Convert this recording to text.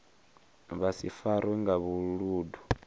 vha si farwe nga vhuludu